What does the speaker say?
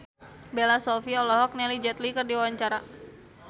Bella Shofie olohok ningali Jet Li keur diwawancara